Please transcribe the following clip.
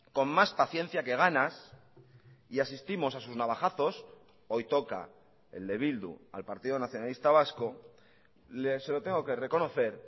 con más paciencia que ganas y asistimos a sus navajazos hoy toca el de bildu al partido nacionalista vasco se lo tengo que reconocer